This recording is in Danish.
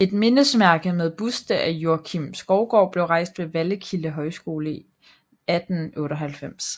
Et mindesmærke med buste af Joakim Skovgaard blev rejst ved Vallekilde Højskole 1898